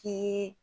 Ke